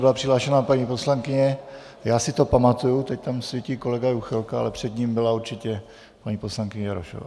Byla přihlášená paní poslankyně, já si to pamatuju, teď tam svítí kolega Juchelka, ale před ním byla určitě paní poslankyně Jarošová.